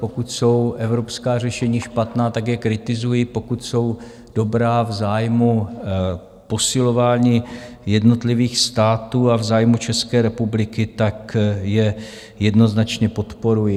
Pokud jsou evropská řešení špatná, tak je kritizuji, pokud jsou dobrá v zájmu posilování jednotlivých států a v zájmu České republiky, tak je jednoznačně podporuji.